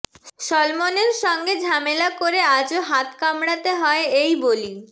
সলমনের সঙ্গে ঝামেলা করে আজও হাত কামড়াতে হয় এই বলি